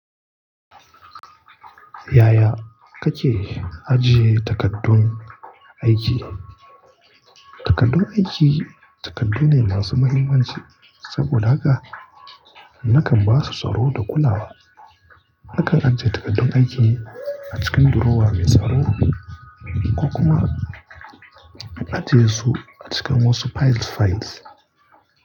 Yaya kake ajiye takaddun aiki? Takaddun aiki takaddu ne masu muhimmanci saboda haka nakan basu tsaro da kulawa. Nakan ajiye takaddun aiki a cikin durowa mai tsaro ko kuma ajiye su a cikin wasu piles files.